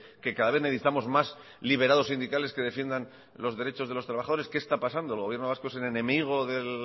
que cada vez necesitamos más liberados sindicales que defiendan los derechos de los trabajadores qué está pasando el gobierno vasco es el enemigo de